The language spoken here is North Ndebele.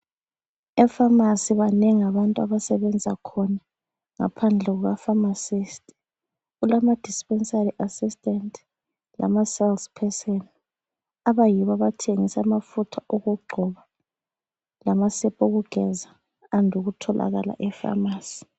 E Pharmacy banengi abantu abasebenza khona. Ngaphandle kukapharmacist, kulama dispensary assistant, lama sales person abayibo abathengisa amafutha okugcoba lamasepa okugeza ande ukutholakala ePharmacy.